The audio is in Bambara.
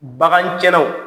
BagantiɲƐnaw